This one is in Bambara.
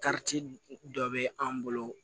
dɔ bɛ an bolo